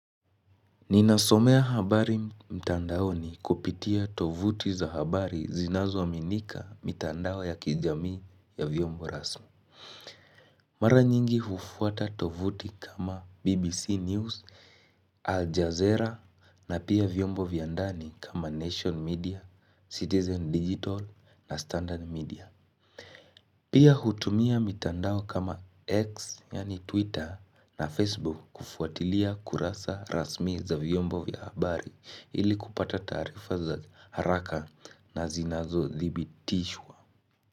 Ninasomea habari mtandaoni kupitia tovuti za habari zinazoaminika mitandao ya kijamii ya viyombo rasmi. Mara nyingi hufuata tovuti kama BBC News, Al Jazeera na pia viyombo vya ndani kama Nation Media, Citizen Digital na Standard Media. Pia hutumia mitandao kama X yani Twitter na Facebook kufuatilia kurasa rasmi za vyombo vya habari ili kupata taarifa za haraka na zinazothibitishwa.